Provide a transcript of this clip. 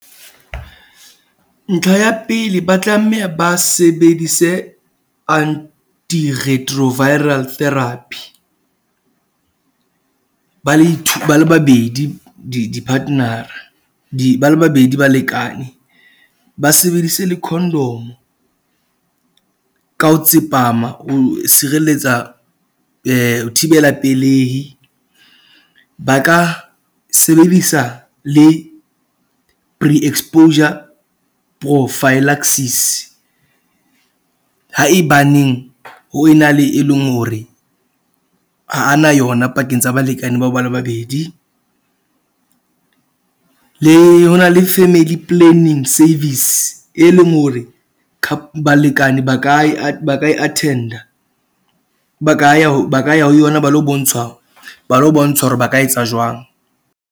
Ntlha ya pele ba tlameha ba sebedise anti retroviral therapy , ba le two ba le babedi di di-partner-a. Ba le babedi balekane, ba sebedise le condom ka ho tsepama ho sireletsa thibela pelehi. Ba ka sebedisa le pre exposure prophylaxis haebaneng ho ena le e leng hore ha a na yona pakeng tsa balekane bao ba le babedi . Le ho na le family planning service, e leng hore balekane ba ka e ba ka e attend-a. Ba ka ya ba ka ya ho yona ba lo bontshwa, ba lo bontshwa hore ba ka etsa jwang.